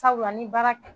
Sabula ni baara